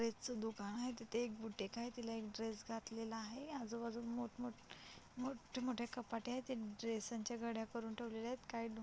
dress च एक दुकान आहे तिथ एक बुटीक आहे तिला एक ड्रेस घातलेला आहे आज़ू बाज़ूला मोठ मोठे मोठे मोठे कपाटे आहेत ते ड्रेसांच्या घड्या करून ठेवलेले आहेत काही --